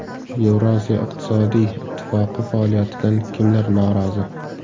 Yevrosiyo iqtisodiy ittifoqi faoliyatidan kimlar norozi?